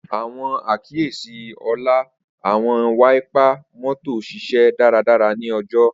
Awọn akiyesi Ola, Awọn wáípà mọ́tò ṣiṣẹ daradara ni ojo.